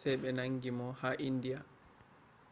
sey ɓe nangi mo ha indiya